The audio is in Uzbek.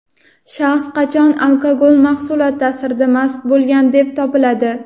Shaxs qachon alkogol mahsulot taʼsirida mast bo‘lgan deb topiladi?.